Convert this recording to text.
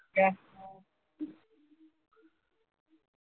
ഏ